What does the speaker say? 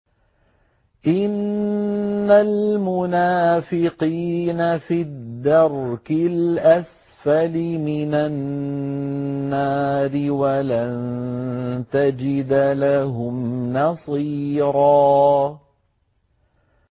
إِنَّ الْمُنَافِقِينَ فِي الدَّرْكِ الْأَسْفَلِ مِنَ النَّارِ وَلَن تَجِدَ لَهُمْ نَصِيرًا